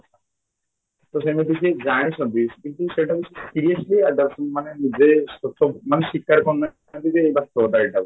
ତା ସେମିତି ସେ ଜାଣିଛନ୍ତି କିନ୍ତୁ ସେଇଟାକୁ seriously adeptly ମାନେ ଯେ ମାନେ ସ୍ୱୀକାର କରୁନାହାନ୍ତି ଯେ ଏଇଟା